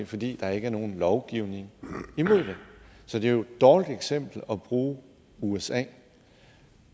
fordi der ikke er nogen lovgivning imod det så det er jo et dårligt eksempel at bruge usa